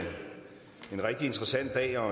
interesseret i at